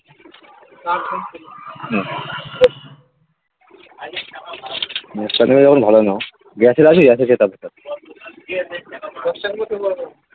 . Gas কাটাবে যখন ভালো নাও গ্যাসের আছে গ্যাসের খেতে হবে একটা .